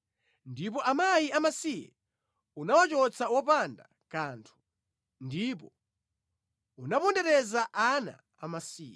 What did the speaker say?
Ndipo akazi amasiye unawachotsa wopanda kanthu, ndipo unapondereza ana amasiye.